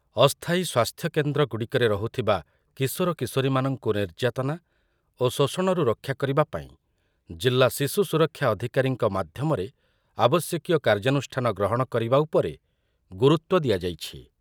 ଅସ୍ଥାୟୀ ସ୍ୱାସ୍ଥ୍ୟକେନ୍ଦ୍ରଗୁଡ଼ିକରେ ରହୁଥିବା କିଶୋର କିଶୋରୀମାନଙ୍କୁ ନିର୍ଯାତନା ଓ ଶୋଷଣରୁ ରକ୍ଷା କରିବା ପାଇଁ ଜିଲ୍ଲା ଶିଶୁ ସୁରକ୍ଷା ଅଧିକାରୀଙ୍କ ମାଧ୍ୟମରେ ଆବଶ୍ୟକୀୟ କାର୍ଯ୍ୟାନୁଷ୍ଠାନ ଗ୍ରହଣ କରିବା ଉପରେ ଗୁରୁତ୍ୱ ଦିଆଯାଇଛି ।